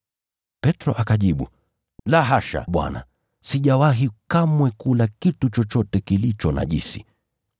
Petro akajibu, “La hasha Bwana! Sijawahi kamwe kula kitu chochote kilicho najisi.”